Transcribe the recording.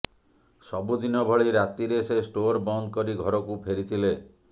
ସବୁଦିନ ଭଳି ରାତିରେ ସେ ଷ୍ଟୋର ବନ୍ଦ କରି ଘରକୁ ଫେରିଥିଲେ